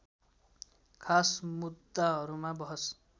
खास मुद्दाहरूमा बहस